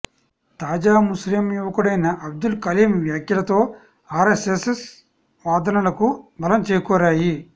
తాజా ముస్లిం యువకుడైన అబ్దుల్ కలీం వ్యాఖ్యలతో ఆర్ఎస్ఎస్ వాదనలకు బలం చేకూరాయి